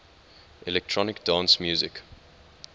electronic dance music